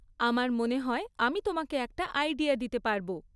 আমার মনে হয় আমি তোমাকে একটা আইডিয়া দিতে পারব।